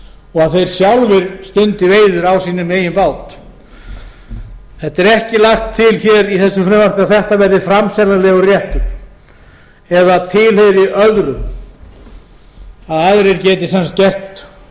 og að þeir sjálfir stundi veiðar á sínum eigin bát það er ekki lagt til hér í þessu frumvarpi að þetta verði framseljanlegur réttur eða tilheyri öðrum að aðrir geti gert